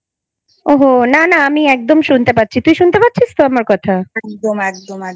ওহ না না আমি একদম শুনতে পাচ্ছি তুই শুনতে পাচ্ছিস তো আমার কথা?